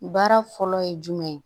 Baara fɔlɔ ye jumɛn ye